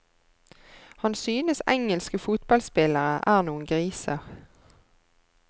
Han synes engelske fotballspillere er noen griser.